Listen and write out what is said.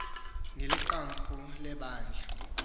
ngeli qumrhu lebandla